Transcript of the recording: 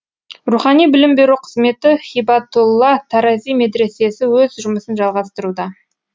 рухани білім беру қызметі һибатулла тарази медресесі өз жұмысын жалғастыруда